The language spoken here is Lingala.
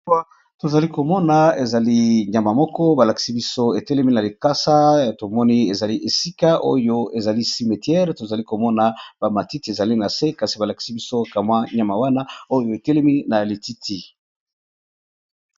Awa, to zali ko mona ezali nyama moko ba lakisi biso e telemi na likasa, to moni ezali esika oyo ezali cimetiere, to zali ko mona ba matiti ezali na se, kasi ba lakisi biso ka mwa nyama wana oyo e telemi na lititi .